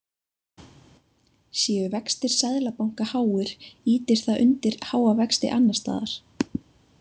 Séu vextir Seðlabanka háir ýtir það undir háa vexti annars staðar.